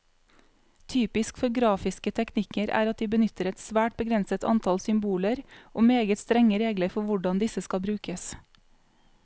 Typisk for grafiske teknikker er at de benytter et svært begrenset antall symboler, og meget strenge regler for hvordan disse skal brukes.